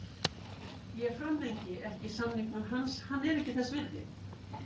Ég framlengi ekki samningnum hans, hann er ekki þess virði.